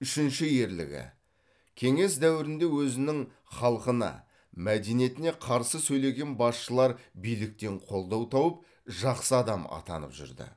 үшінші ерлігі кеңес дәуірінде өзінің халқына мәдениетіне қарсы сөйлеген басшылар биліктен қолдау тауып жақсы адам атанып жүрді